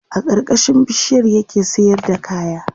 a karkashin bishiyar ya ke sayar da kaya